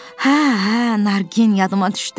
Hə, hə, Nargin yadıma düşdü.